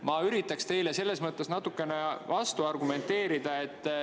Ma üritan teile selles mõttes natukene vastu argumenteerida.